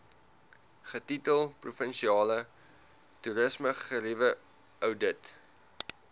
getitel provinsiale toerismegerieweoudit